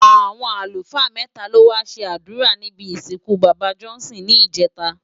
Awọn alúfaa mètá ló wá ṣé adúrá nibi isinkú baba Johnson ni ijètá